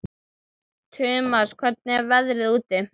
Tumas, hvernig er veðrið úti?